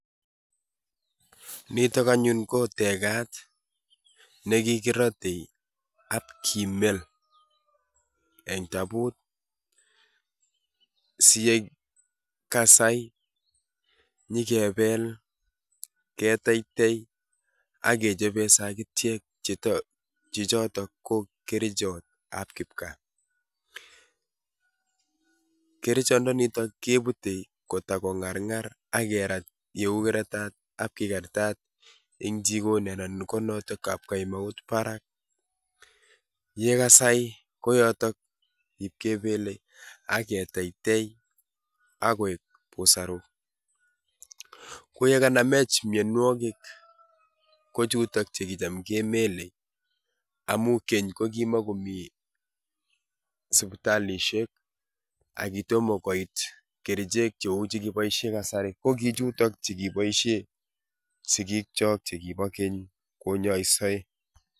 Nitok anyun ko tekat nekikirote ak kimel en tabot siyekasai nyokebel, keteitei ak kechoben sakitiek chechotok ko kerichotab kipkaa, kerichondoniton kebute koto ko ng'arng'ar ak kerat yeu koratat ak kikartat en jikoni anan konotok kapkenaut barak, yekasai konotok iib kebele ak ketetei AK koik busaruk, koyekanamech mionwokik kochutok chekotam kemele amun Keny ko kimokomi sipitalishek ak kitomo koit kerichek cheu chekiboishen en kasari ko kichutok chekiboishen sikiikyok chekibo keny konyoise.